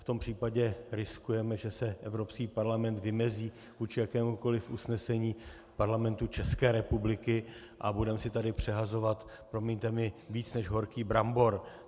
V tom případě riskujeme, že se Evropský parlament vymezí vůči jakémukoli usnesení Parlamentu České republiky a budeme si tady přehazovat, promiňte mi, víc než horký brambor.